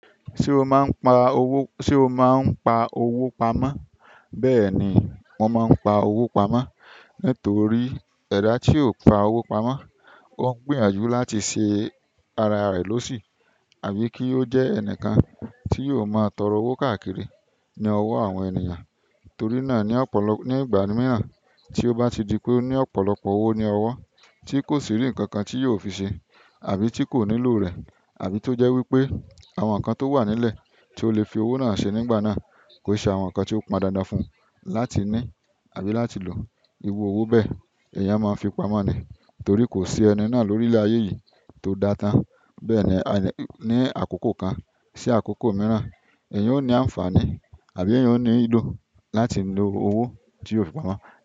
Ṣé o máa ń pa owó, ṣe o máa ń pa owó pamọ́? Bẹ́ẹ̀ ni, mo máa ń pa owo pamọ́. Nítorí ẹda tí ó pa owó pamọ́, ó ń gbìyànjú láti ṣe ara rẹ̀ lọ́sì àbí kí ó jẹ́ ẹnìkan tí yóò máa tọrọ owó káàkiri ní ọwọ́ àwọn ènìyàn. Torí náà ní ọ̀pọ̀lọp-- ní ìgbà mìíràn tí ó bá ti di pé ó ní ọ̀pọ̀lọpọ̀ owó ní ọwọ́ tí kò sì rí nǹkan tí yóò fi ṣe àbí tí kò nílò rẹ̀ àbí tó jẹ́ wí pé àwọn nǹkan tó wà nílẹ̀ tí ó le fi owó náà ṣe nígbà náà kò ṣe àwọn nǹkan tí ó pọn dandan fún un láti ní àbí láti lo. Iru owó bẹ́ẹ̀, èèyàn máa ń fi pamọ́ ni. Torí ko si ẹni náà lorilẹ aye yìí to da tan. Bẹ́ẹ̀ ni, ẹni-- ní àkókò kan sí àkókò mìíràn, èèyàn ó ní àǹfààní àbí èèyàn ó ní ilo láti lo owó tí ó fi pamọ́.